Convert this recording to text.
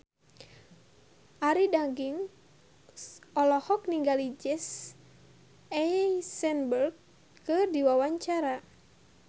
Arie Daginks olohok ningali Jesse Eisenberg keur diwawancara